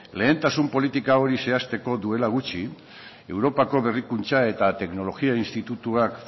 lehentasun politika hori zehazteko duela gutxi europako berrikuntza eta teknologia institutuak